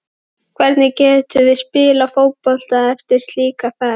Hvernig getum við spilað fótbolta eftir slíka ferð?